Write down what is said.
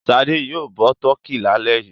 Ṣadé yóò bọ tọkí lálẹ́ yìí.